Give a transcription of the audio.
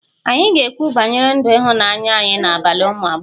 Anyị ga-ekwu banyere ndụ ịhụnanya anyị n'abalị ụmụ agbọghọ